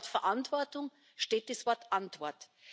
Und in dem Wort Verantwortung steckt das Wort Antwort.